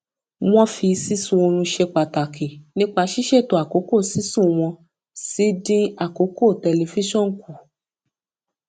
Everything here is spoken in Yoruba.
wọn fi sísun orun ṣe pàtàkì nípa ṣísètò àkókò sísùn wọn sì dín àkókò tẹlifíṣọn kù